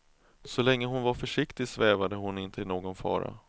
Så länge hon var försiktig svävade hon inte i någon fara.